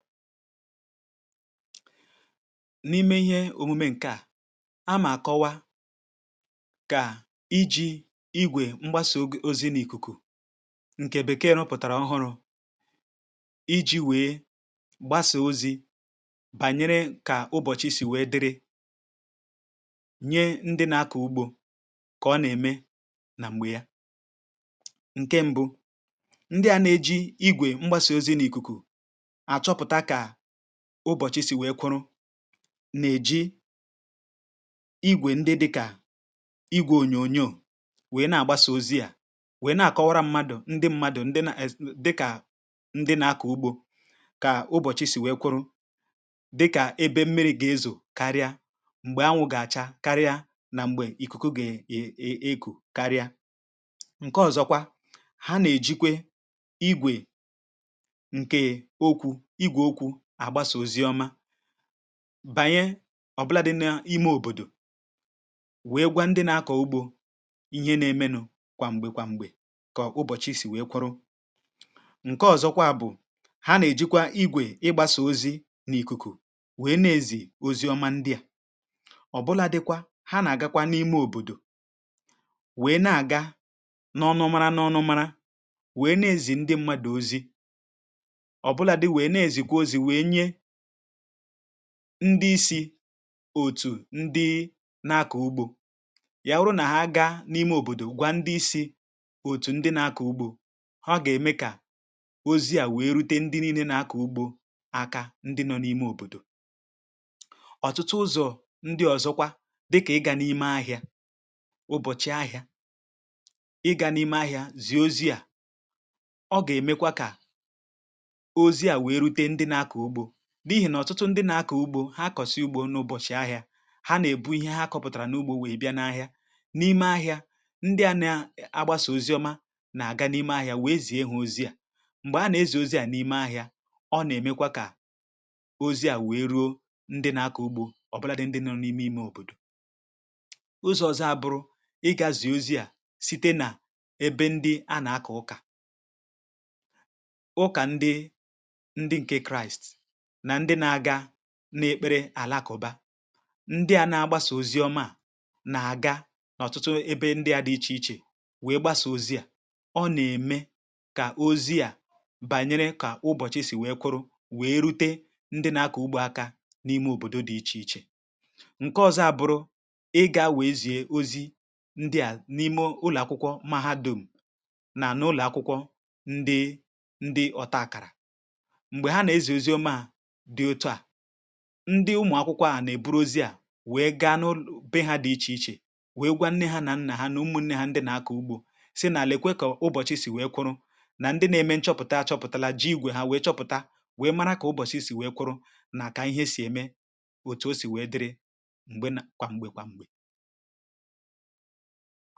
N’ime ihe omume nke à, a mà kọwa kà i ji igwè mgbasà ozi n’ìkùkù ǹkè bekee rụpụ̀tàrà ọhụrụ̇, i ji wee gbasà ozi bànyere kà ụbọchị si wee dịrị, nye ndị na-akọ ugbȯ kà ọ nà-ème nà m̀gbè ya. Nkè mbụ̇, ndị à na-eji igwè mgbasà ozi n’ìkùkù, a chopụta ka ụbọ̀chị̀ sì nwèe kwụrụ nà-èji igwè ndị dịkà igwè ònyònyoò wee nà-àgbasà ozi à, wee nà-àkọwara mmadụ̀ ndị mmadụ̀ndi na ez di kà ndị na-akọ̀ ugbȯ, kà ụbọ̀chị̀ sì nwèe kwụrụ. Dịkà ebe mmiri̇ gà-ezò karịa, m̀gbè anwụ̇ gà-àcha karịa, nà m̀gbè ìkùkù gà-è èku karịa. Nke ọzọkwa, ha nà-èjikwe igwè ǹke òkwù ìgwè òkwù agbàsa ozi oma bànye ọ̀bụlȧdị̇ nà ime òbòdò, wee gwa ndị na-akọ̀ ugbȯ ihe n’emenụ̇ kwà m̀gbè kwà m̀gbè kà ụbọ̀chị sì wee kwurụ. Nke ọ̀zọkwa bụ,̀ ha nà-èjikwa igwè ịgbȧsȧ ozi n’ìkùkù wee nà-ezì ozi ọma ndị à. ọ̀bụlȧdị̇ kwa ha nà-àgakwa n’ime òbòdò wee nà-àga n’ọnụ̇ mara n’ọnụ̇ mara, wee nà-ezì ndị̇ m̀madụ̇ ozi ọ bụlàdi wee nà-ezikwa ozi nwe nye ndị isi̇ òtù ndị nà-àkọ ugbȯ. Yà wụrụ nà ha gaa n’ime òbòdò gwa ndị isi̇ òtù ndị nà-àkọ ugbȯ, ha gà-ème kà ozi̇ à wèe rute ndị nii̇ nė na-akà ugbȯ aka ndị nọ̇ n’ime òbòdò. ọ̀tụtụ ụzọ̀ ndị ọ̀zọkwa, dịkà ịgȧ n’ime ahịȧ ụbọ̀chị̀ ahịȧ, ịgȧ n’ime ahịa zie ozi̇à, ọ gà-èmekwa kà ozie wee rute ndị nà-àkọ ùgbò n'ihi nà ọ̀tụtụ ndị nà-akọ̀ ugbȯ, ha kọ̀sịa ugbȯ n’ụbọ̀chị̀ ahịa, ha nà-èbu ihe ha kọ̇pụ̀tàrà n’ugbȯ wèe bịa n’ahịa n’ime ahịa ndị à na-agbȧsà ozi ọma, nà-àga n’ime ahịa wèe zìe ha ozià. Mgbè a nà-ezì ozi à n’ime ahịa, ọ nà-èmekwa kà ozi à wèe ruo ndị nà-akọ̀ ugbȯ ọ̀bụlà dị, ndị nọ̇ n’ime imė òbòdò. ụzọ ọzọ abụrụ, ị gȧ zìe ozi à site nà ebe ndị a nà-akọ̀ ụkà. ụkà ndị ndị ǹkè kraist nà ndị na-ga na-ekpere àlàkụ̀bȧ. Ndị à na-agbasà ozi ọma à, nà-àga n’ọ̀tụtụ ebe ndị à dị ichè ichè wèe gbasà ozi à, ọ nà-ème kà ozi à bànyere kà ụbọ̀chị̀ sì wèe kwụrụ wèe rute ndị na-akọ̀ ugbȯ akȧ n’ime òbòdo dị̇ ichè ichè. Nke ọ̇zo ȧ bụrụ, ị gȧ wèe zie ozi ndị à n’ime ụlọ̀akwụkwọ mahadum nà n’ụlọ̀akwụkwọ ndị ndị ọ̀ta àkàrà, mgbè ha nà-èzi ozi oma a di otu a, ndị ụmụ̀ akwụkwọ à nà-èburu ozi à wèe gáá nụ bee ha dị ichè ichè wèe gwa nne ha nà nnà ha nà ụmụ̀ nne ha ndị nà-akọ̀ ugbȯ, sị nà lekwa kà ụbọ̀chị̀ sì wèe kwụrụ. Nà ndị nȧ-ėmė nchọpụ̀ta chọpụ̀tàla ji ìgwè ha wèe chọpụ̀ta, wèe mara kà ụbọ̀chị̀ sì wèe kwụrụ nàkà ihe sì ème, òtù o sì wèe dịrị m̀gbe kwà m̀gbè kwà m̀gbè.